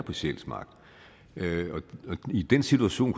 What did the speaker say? på sjælsmark i den situation